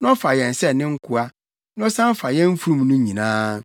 na ɔfa yɛn sɛ ne nkoa, na ɔsan fa yɛn mfurum no nyinaa.”